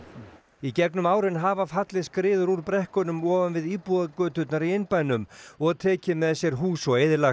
í gegnum árin hafa fallið skriður úr brekkunum ofan við íbúðagöturnar í innbænum og tekið með sér hús og eyðilagt